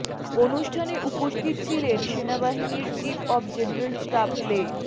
অনুষ্ঠানে উপস্থিত ছিলেন সেনাবাহিনীর চিফ অব জেনারেল স্টাফ লে